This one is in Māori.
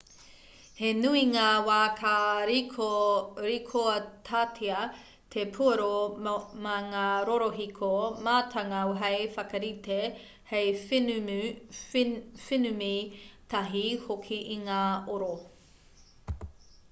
he nui ngā wā ka rīkoatatia te puoro mā ngā rorohiko mātanga hei whakarite hei whenumi tahi hoki i ngā oro